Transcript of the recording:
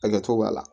Hakɛto b'a la